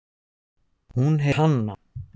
Bless í bili.